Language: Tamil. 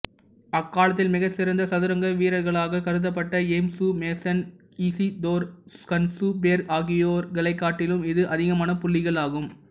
அக்காலத்தில் மிகச் சிறந்த சதுரங்க வீர்ர்க்களாகக் கருதப்பட்ட யேம்சு மேசன் இசிதோர் கன்சுபெர்க் ஆகியோரைக்காட்டிலும் இது அதிகமான புள்ளிகள் ஆகும்